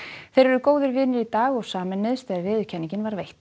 þeir eru góðir vinir í dag og sameinuðust þegar viðurkenningin var veitt